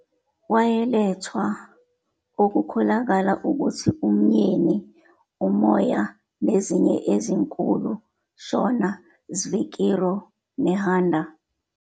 Wayelethwa okukholakala ukuthi umyeni umoya nezinye ezinkulu Shona "svikiro," Nehanda.